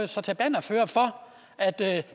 sig til bannerfører for at det